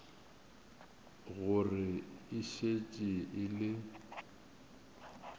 gore e šetše e le